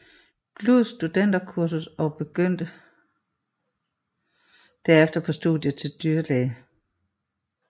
Gluuds studenterkursus og begyndte derefter på studiet til dyrlæge